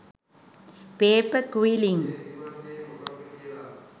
paper quillings